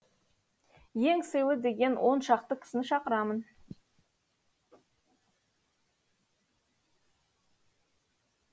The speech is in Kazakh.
ең сыйлы деген оншақты кісіні шақырамын